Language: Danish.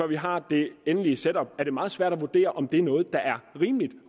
vi har det endelige setup er det meget svært at vurdere om det er noget der er rimeligt